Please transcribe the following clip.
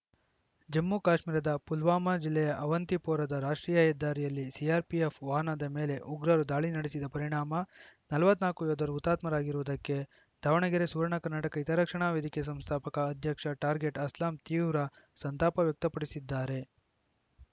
ಜಮ್ಮು ಕಾಶ್ಮೀರದ ಪುಲ್ವಾಮಾ ಜಿಲ್ಲೆಯ ಅವಂತಿಪೊರಾದ ರಾಷ್ಟ್ರೀಯ ಹೆದ್ದಾರಿಯಲ್ಲಿ ಸಿಆರ್‌ಪಿಎಫ್‌ ವಾಹನದ ಮೇಲೆ ಉಗ್ರರು ದಾಳಿ ನಡೆಸಿದ ಪರಿಣಾಮ ನಲವತ್ತ್ ನಾಲ್ಕು ಯೋಧರು ಹುತಾತ್ಮರಾಗಿರುವುದಕ್ಕೆ ದಾವಣಗೆರೆ ಸುವರ್ಣ ಕರ್ನಾಟಕ ಹಿತರಕ್ಷಣಾ ವೇದಿಕೆ ಸಂಸ್ಥಾಪಕ ಅಧ್ಯಕ್ಷ ಟಾರ್ಗೆಟ್‌ ಅಸ್ಲಾಂ ತೀವ್ರ ಸಂತಾಪ ವ್ಯಕ್ತಪಡಿಸಿದ್ದಾರೆ